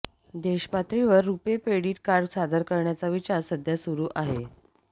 देश पातळीवर RuPay debit card सादर करण्याचा विचार सध्या सुरू आहे